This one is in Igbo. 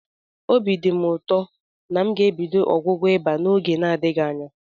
Obi dị m ụtọ na m ga-ebido ọgwụgwọ ịba m n'oge n'adịghị anya.